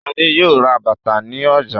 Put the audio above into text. Ṣadé yóò ra bàtà ní ọjà.